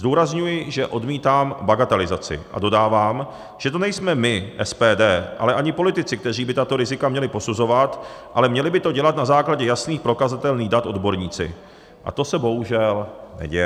Zdůrazňuji, že odmítám bagatelizaci, a dodávám, že to nejsme my, SPD, ale ani politici, kteří by tato rizika měli posuzovat, ale měli by to dělat na základě jasných, prokazatelných dat odborníci, a to se, bohužel, neděje.